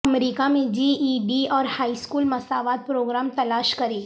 امریکہ میں G E D اور high school مساوات پروگرام تلاش کریں